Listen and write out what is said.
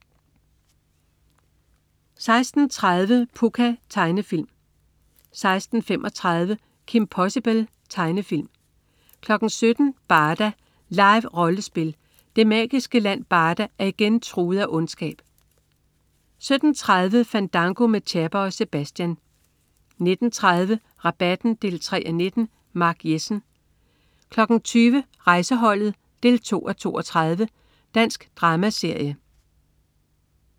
16.30 Pucca. Tegnefilm 16.35 Kim Possible. Tegnefilm 17.00 Barda. Live-rollespil. Det magiske land Barda er igen truet af ondskab 17.30 Fandango med Chapper og Sebatian 19.30 Rabatten 3:19. Mark Jessen 20.00 Rejseholdet 2:32. Dansk dramaserie